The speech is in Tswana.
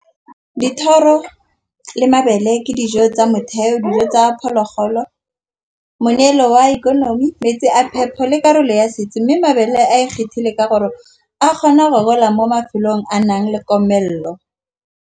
Dithoro le mabele ke dijo tsa motheo dijo tsa phologolo. Moneelo wa ikonomi, metsi a phepo le karolo ya setsi mme mabele a e kgethile ka gore a kgona gola mo mafelong a nang le komelelo.